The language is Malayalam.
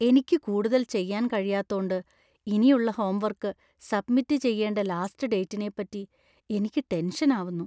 എനിക്ക് കൂടുതൽ ചെയ്യാന്‍ കഴിയാത്തോണ്ട് ഇനിയുള്ള ഹോംവര്‍ക്ക്‌ സബ്മിറ്റ് ചെയ്യേണ്ട ലാസ്റ്റ് ഡേറ്റിനെ പറ്റി എനിക്ക് ടെന്‍ഷന്‍ ആവുന്നു.